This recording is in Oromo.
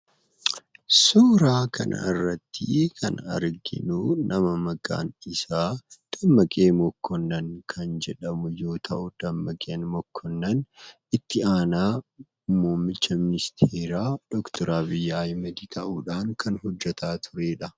Suuraa kanarratti kan arginu nama maqaan isaa Dammaqee Mokonnoon kan jedhamu yoo ta'u, Dammaqeen Mokonnoon ittu aanaa muummicha ministeera DR.Abiy Ahmed ta'udhan kan hojjeta turedha.